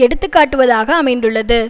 எடுத்து காட்டுவதாக அமைந்துள்ளது